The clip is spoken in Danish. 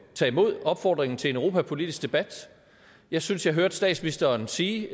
tage imod opfordringen til en europapolitisk debat jeg synes jeg hørte statsministeren sige